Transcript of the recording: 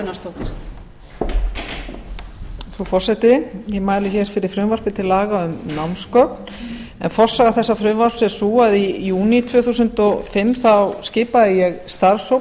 frú forseti ég mæli hér fyrir frumvarpi til laga um námsgögn en forsaga þessa frumvarps er sú að í júní tvö þúsund og fimm þá skipaði ég starfshóp